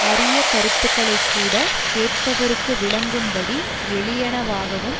அரிய கருத்துகளை கூட கேட்பவர்க்கு விளங்கும்படி எளியனவாகவும்